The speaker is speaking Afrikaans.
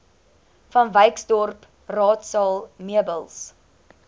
vanwyksdorp raadsaal meubels